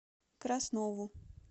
краснову